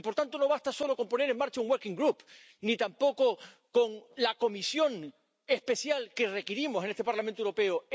Y, por tanto, no basta solo con poner en marcha un working group ni tampoco con la comisión especial que requerimos en este Parlamento Europeo.